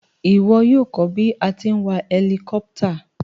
Ìwo yio ko bí a ti n wa helicopter